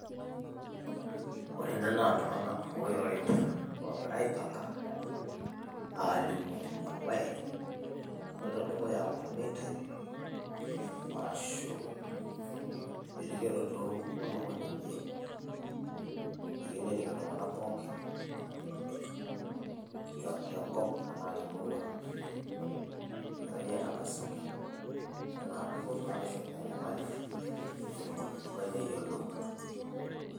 Ore ena naaa iltunganak, oirorita oogira aipanka aalimu embaye naloito dukuya aa ormeitai arashuu elikioroto olomoni one oyieu nening iltung'ana pookin tenkop enaa temurua egirai aitankasaki dupoto ashuu enyamali peetum orkilikuai neyiolou.